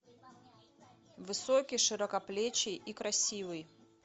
высокий широкоплечий и красивый